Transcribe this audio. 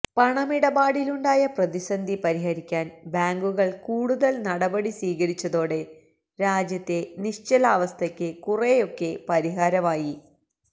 പണമിടപാടിലുണ്ടായ പ്രതിസന്ധി പരിഹരിക്കാൻ ബാങ്കുകൾ കൂടുതൽ നടപടി സ്വീകരിച്ചതോടെ രാജ്യത്തെ നിശ്ചലാവസ്ഥയ്ക്ക് കുറെയൊക്കെ പരിഹാരമായി